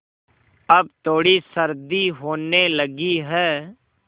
अब थोड़ी सर्दी होने लगी है